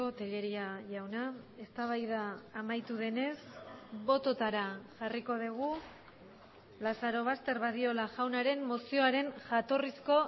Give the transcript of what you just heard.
telleria jauna eztabaida amaitu denez bototara jarriko dugu lazarobaster badiola jaunaren mozioaren jatorrizko